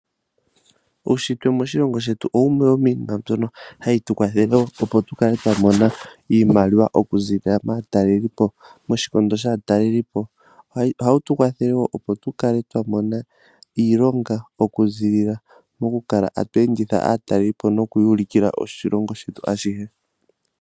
Uushitwe moshilongo shetu owo wumwe womiinima mbyono hayi tu kwathele opo tu kale twa mona iimaliwa okuziilila maatalelipo